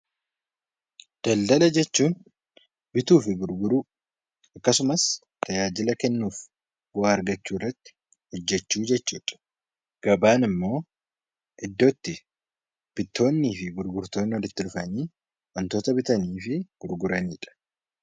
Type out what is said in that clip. Daldala jechuun bituu fi gurguruu akkasumas tajaajila kennuu fi waa argachuu irratti hojjachuu jechuudha. Gabaan immoo iddoo itti bittoonnii fi gurgurtoonni walitti dhufanii wantoota bitanii fi gurguranidha.